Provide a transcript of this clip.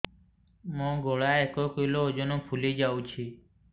ମୋ ଗଳା ଏକ କିଲୋ ଓଜନ ଫୁଲି ଯାଉଛି